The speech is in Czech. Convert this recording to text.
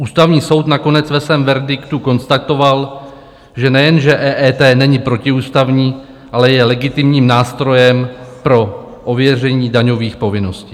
Ústavní soud nakonec ve svém verdiktu konstatoval, že nejenže EET není protiústavní, ale je legitimním nástrojem pro ověření daňových povinností.